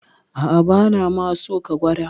A'a, bana ma so ka gwada.